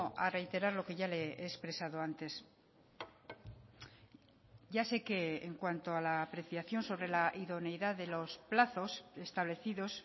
a reiterar lo que ya le he expresado antes ya sé que en cuanto a la apreciación sobre la idoneidad de los plazos establecidos